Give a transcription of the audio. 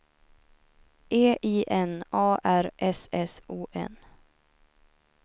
E I N A R S S O N